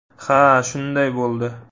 Ha, shunday bo‘ldi.